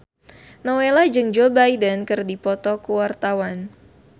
Nowela jeung Joe Biden keur dipoto ku wartawan